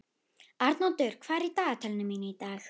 Arnoddur, hvað er í dagatalinu mínu í dag?